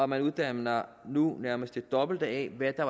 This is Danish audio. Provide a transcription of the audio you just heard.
man uddanner nu nærmest det dobbelte af hvad der